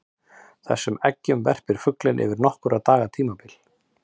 Þessum eggjum verpir fuglinn yfir nokkurra daga tímabil.